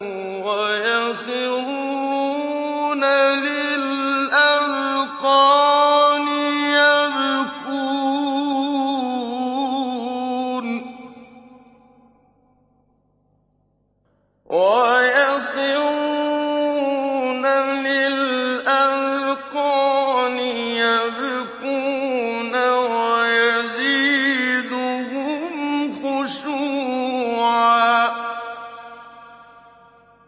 وَيَخِرُّونَ لِلْأَذْقَانِ يَبْكُونَ وَيَزِيدُهُمْ خُشُوعًا ۩